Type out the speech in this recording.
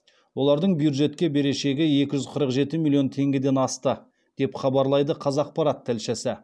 олардың бюджетке берешегі екі жүз қырық жеті миллион теңгеден асты деп хабарлайды қазақпарат тілшісі